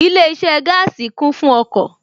Ilé iṣẹ́ gaasi kún fún ọkọ̀